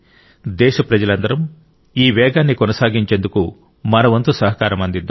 దేశప్రజలందరం ఈ వేగాన్ని కొనసాగించేందుకు మన వంతు సహకారం అందిద్దాం